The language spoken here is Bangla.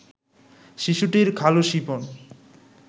শিশুটির খালু শিপন